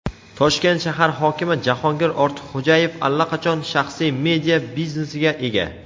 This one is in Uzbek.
Toshkent shahar hokimi Jahongir Ortiqxo‘jayev allaqachon shaxsiy media-biznesiga ega.